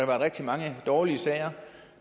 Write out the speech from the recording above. været rigtig mange dårlige sager